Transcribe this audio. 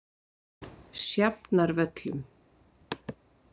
Sjafnarvöllum